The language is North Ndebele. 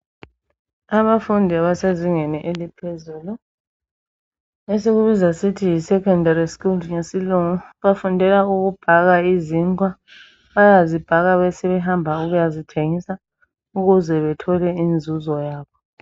Abafundi abasezingeni eliphezulu esikubiza sithi yi"secondary school " ngesilungu bafundela ukubhaka izinkwa. Bayazibhaka besebehamba ukuyazithengisa ukuze bethole inzuzo yabo.